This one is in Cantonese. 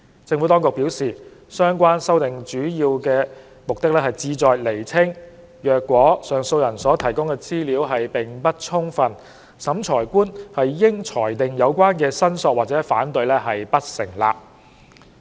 政府當局表示，相關修訂主要目的旨在釐清，若上訴人所提供的資料並不充分，審裁官應裁定有關申索或反對不成立。